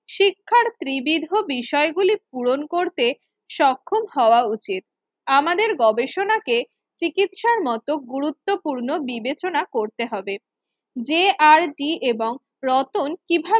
ত্রিবিদো বিষয়গুলি পূরণ করতে সক্ষম হওয়া উচিত আমাদের গবেষণাকে চিকিৎসার মত গুরুত্বপূর্ণ বিবেচনা করতে হবে যে আর ডি এবং রতন কিভাবে